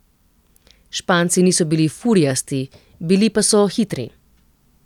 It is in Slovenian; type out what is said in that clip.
Španci niso bili furijasti, bili pa so hitri.